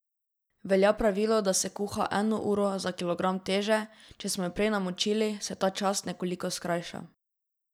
Velja pravilo, da se kuha eno uro za kilogram teže, če smo jo prej namočili, se ta čas nekoliko skrajša.